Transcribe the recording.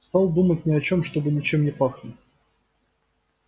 стал думать ни о чем чтобы ничем не пахнуть